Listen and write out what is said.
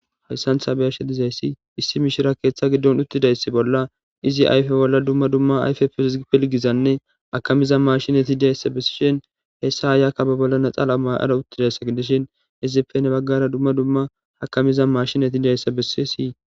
Hayissan taa be'ashshe dizayissi issi mishshira keththa giddonni uttidayissa bolla izzi ayife bolla dumma dumma ayife piligizzanne akamizza mashshinetti dizayissa besishshinn hessa ayikka bee bolla laxanna ma'ada uttidayissa gidishshin izzippe hani bagara dumma dumma mashshinetti dizayissa besses.